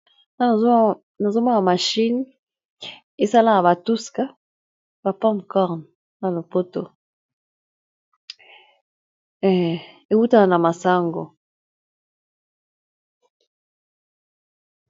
Nazomona machine esalaka batuska ba popcorn na lopoto ewutaka na masango.